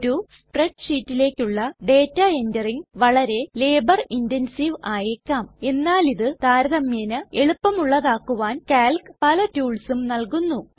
ഒരു സ്പ്രെഡ് ഷീറ്റിലേക്കുള്ള ഡേറ്റ എൻററിംഗ് വളരെ ലേബർ ഇൻറൻസീവ് ആയേക്കാം എന്നാൽ ഇത് താരതമ്യേന എളുപ്പമുള്ളതാകുവാൻ കാൽക് പല ടൂൾസും നൽകുന്നു